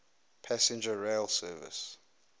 passenger rail service